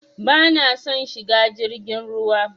Bana son shiga jirgin ruwa.